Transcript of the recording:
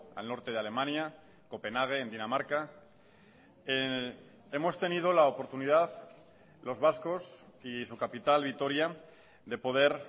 al norte de alemania copenhague en dinamarca hemos tenido la oportunidad los vascos y su capital vitoria de poder